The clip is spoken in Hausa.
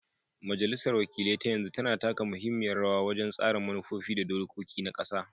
Majalisar wakilai ta yanzu tana taka muhimmiyar rawa wajen tsara manufofi da dokoki na ƙasa.